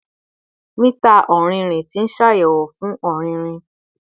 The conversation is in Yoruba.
Mita ọrinrin ti ṣayẹwo igi fun ọririn